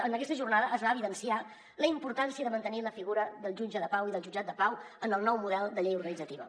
en aquesta jornada es va evidenciar la importància de mantenir la figura del jutge de pau i del jutjat de pau en el nou model de llei organitzativa